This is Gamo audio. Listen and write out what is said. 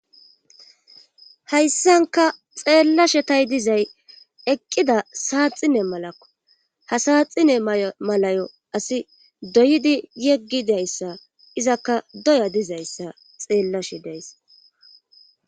Hayssanka xeellashe tay dizay eqqida saaxine malakko hasaaxine malayo asi doyidi yeggidayssa izakka doya dizayssa xeellashe deys